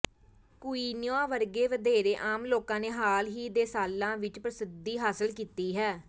quinoa ਵਰਗੇ ਵਧੇਰੇ ਆਮ ਲੋਕਾਂ ਨੇ ਹਾਲ ਹੀ ਦੇ ਸਾਲਾਂ ਵਿਚ ਪ੍ਰਸਿੱਧੀ ਹਾਸਲ ਕੀਤੀ ਹੈ